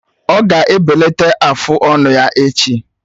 Ọ ga-ebelata afụ ọnụ ya echi.